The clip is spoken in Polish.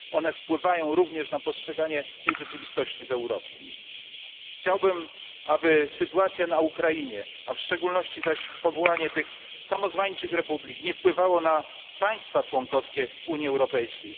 One wpływają również na postrzeganie tej rzeczywistości w Europie. Chciałbym, aby sytuacja na Ukrainie, a w szczególności zaś powołanie tych samozwańczych republik, nie wpływało na państwa członkowskie Unii Europejskiej.